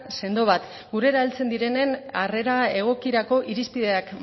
sendo bat gurera heltzen direnen arrera egokirako irizpideak